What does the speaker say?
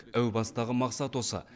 әу бастағы мақсат осы